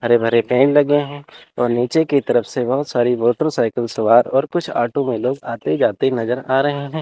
हरे भरे पेड़ लगे है और नीचे की तरफ से बहुत सारी मोटरसाइकिल सवार और कुछ ऑटो में लोग आते जाते नजर आ रहे हैं।